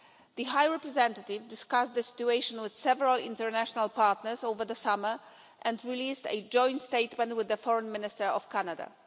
The High Representative discussed the situation with several international partners over the summer and released a joint statement with the Foreign Minister of Canada.